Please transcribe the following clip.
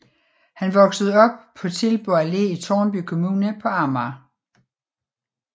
Han voksede op på Tilburg Allé i Tårnby kommune på Amager